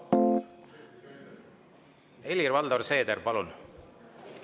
Helir-Valdor Seeder, palun!